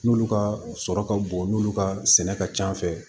N'olu ka sɔrɔ ka bon n'olu ka sɛnɛ ka ca fɛ